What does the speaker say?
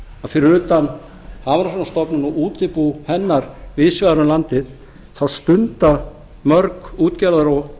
að fyrir utan hafrannsóknastofnun og útibú hennar víðs vegar um landið stunda mörg útgerðar og